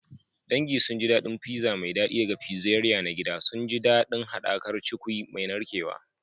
Dangin sun ji daɗin pizza mai daɗi daga pizzeria na gida, suna jin daɗin haɗakar da cukwi mai narkewa.